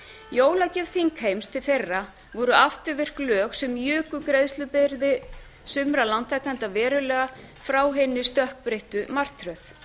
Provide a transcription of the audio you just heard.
jólagjöf þingheims til þeirra voru afturvirk lög sem juku greiðslubyrði sumra lántakenda verulega frá hinni stökkbreyttu martröð